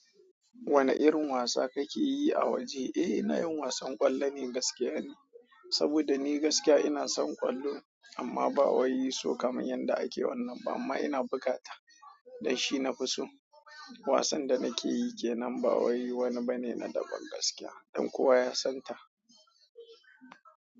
Wane irin wasa kake yi a waje? Eh, ina yin wasan ƙwallo ne gaskiya ni, saboda ni gaskiya ina son ƙwallo amma ba wai so kamar yadda ake wannan ba, amma ina buga ta don shi nafi so. Wasan da nake yi ke nan ba wai wani bane na daban gaskiya don kowa ya san ta.